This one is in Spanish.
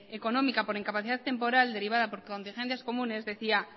económica por incapacidad temporal derivada por contingencias comunes decía